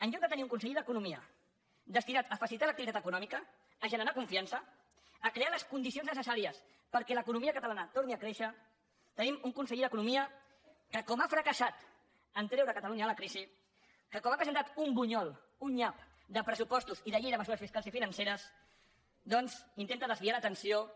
en lloc de tenir un conseller d’economia destinat a facilitar l’activitat econòmica a generar confiança a crear les condicions necessàries perquè l’economia catalana torni a créixer tenim un conseller d’economia que com ha fracassat a treure catalunya de la crisi que com ha presentat un bunyol un nyap de pressupostos i de llei de mesures fiscals i financeres doncs intenta desviar l’atenció